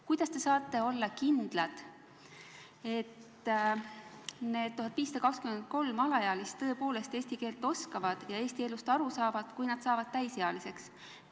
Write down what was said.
Kuidas te saate olla kindlad, et need 1523 alaealist eesti keelt oskavad ja Eesti elust aru saavad, kui nad saavad täisealiseks?